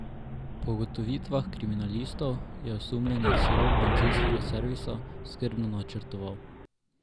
Po ugotovitvah kriminalistov je osumljenec rop bencinskega servisa skrbno načrtoval.